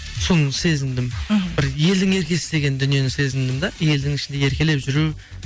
соны сезіндім мхм бір елдің еркесі деген дүниені сезіндім да елдің ішінде еркелеп жүру